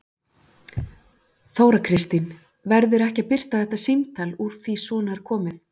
Þóra Kristín: Verður ekki að birta þetta símtal úr því svona er komið?